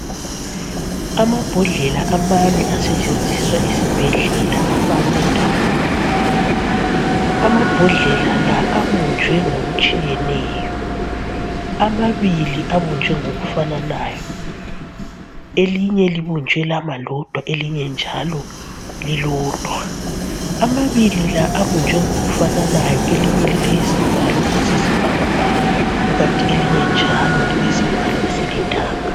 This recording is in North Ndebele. Amabhodlela amane asetshenziswa esibhedlela afakwe ndawonye. Amabhodlela la abunjwe ngokutshiyeneyo. Amabili abunjwe ngokufananayo , elinye libunjwe lama lodwa elinye njalo lilodwa. Amabili la abunjwe ngokufananayo elinye lilesivalo esiyisibhakabhaka kukanti elinye njalo lilesivalo esilithanga.